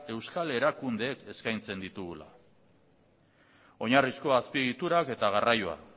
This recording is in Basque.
euskal erakundeek eskaintzen ditugula oinarrizko azpiegiturak eta garraioa